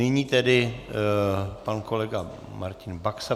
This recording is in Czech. Nyní tedy pan kolega Martin Baxa.